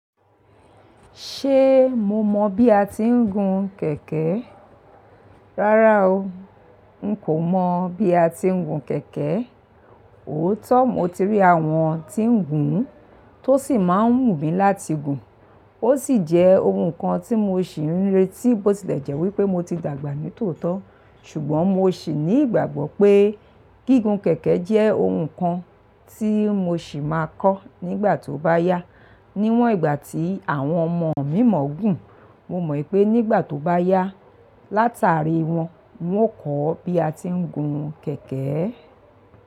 Ṣe mo mọ bi a ti ń gun kẹ̀kẹ́? Rara o, n ko mọ bi a ti ń gun kẹ̀kẹ́. Ootọ mo ti rí àwọn tí ń gùn ún tó sì máa ń mú mi láti gùn ún. O si jẹ ohun kan ti mo ṣì ń retí bó tilè jẹ́ wípé mo ti dàgbà nítòótọ̀. Ṣugbọn mo sì ní ìgbàgbọ́ pé gígùn kẹ̀kẹ́ jẹ́ ohun kan ti mo sì máa kọ́ nígbà tó bá yá. Niwọn ìgbà tí àwọn ọmọ mi mọ̀ gùn, mo mọ̀ pé nígbà tó bá yá, látàrí wọn, ń o kọ́ bí a ti ń gun kẹ̀kẹ́.